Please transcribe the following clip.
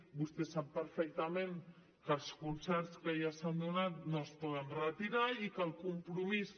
vostè sap perfectament que els concerts que ja s’han donat no es poden retirar i que el compromís